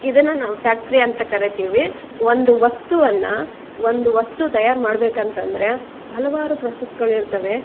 ಇದನ್ನು ನಾವು ಫ್ಯಾಕ್ಟರಿ ಅಂತ ಕರೀತೀವಿ ಒಂದು ವಸ್ತುವನ್ನ ಒಂದು ವಸ್ತು ತಯಾರು ಮಾಡಬೇಕೆಂದ್ರೆ ಹಲವಾರು ಪ್ರೋಸೆಸ್ ಗಳು ಇರ್ತವೆ .